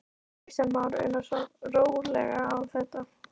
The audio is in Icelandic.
Kristján Már Unnarsson: Rólega á þetta?